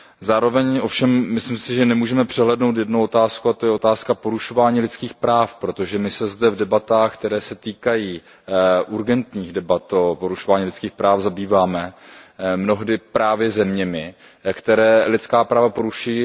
Zároveň si ovšem myslím, že nemůžeme přehlédnout jednu otázku, a to je otázka porušování lidských práv, protože my se zde v debatách, které se týkají urgentních debat o porušování lidských práv, zabýváme mnohdy právě zeměmi, které lidská práva porušují.